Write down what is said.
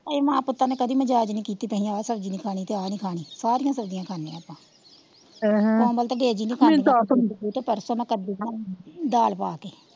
ਆਸੀ ਮਾਂ ਪੁੱਤਾਂ ਨੇ ਕੜੀ ਮਜਾਜ ਨੀ ਕੀਤੀ ਆ ਸਬਜੀ ਨਹੀਂ ਖਾਣੀ ਤੇ ਆ ਨੀ ਖਾਣੀ ਸਾਰਿਆ ਸਬਜੀਆ ਖਾਂਦੇ ਆਪਾ ਅਹਮ ਮੀਨੂੰ ਪਰਸੋਂ ਦਾ ਕੱਦੂ ਬਣਾਇਆ ਦਾਲ ਪਾਕੇ,